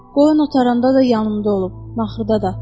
Qoyun o taranda da yanımda olub, naxırda da.